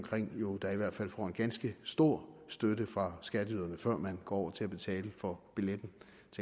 jo da i hvert fald får en ganske stor støtte fra skatteyderne før man går over til at betale for billetten